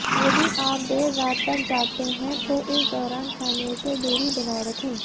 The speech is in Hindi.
यदि आप देर रात तक जागते हैं तो इस दौरान खाने से दूरी बनाये रखें